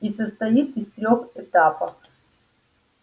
и состоит из трёх этапов